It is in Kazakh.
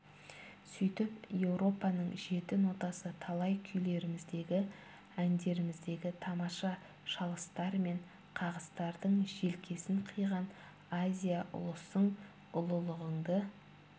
сөйтіп еуропаның жеті нотасы талай күйлеріміздегі әндеріміздегі тамаша шалыстар мен қағыстардың желкесін қиған азия ұлысың ұлылығыңды